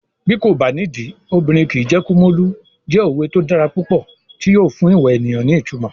Bí kò bá nídìí, obìnrin kìí jẹ́ Kumolu" jẹ́ òwe tó dára púpọ̀ tí yóò fún ìwà ènìyàn ní ìtumọ̀.